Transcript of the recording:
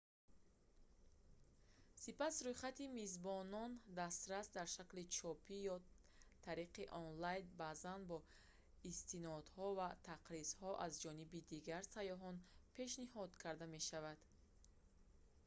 сипас рӯйхати мизбонони дастрас дар шакли чопӣ ё тариқи онлайн баъзан бо истинодҳо ва тақризҳо аз ҷониби дигар сайёҳон пешниҳод карда мешавад